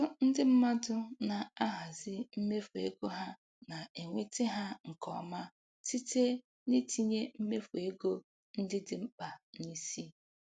Ọtụtụ ndị mmadụ na-ahazi mmefu ego ha na-enweta ha nke ọma site n'itinye mmefu ego ndị dị mkpa n'isi.